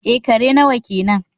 eh, kare nawa kenan